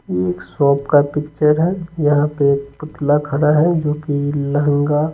ये एक शॉप का पिक्चर है यहां पे एक पुतला खड़ा है जो कि लहंगा --